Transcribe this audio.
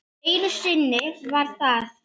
Einu sinni var það